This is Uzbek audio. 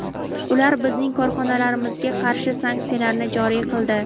Ular bizning korxonalarimizga qarshi sanksiyalarni joriy qildi.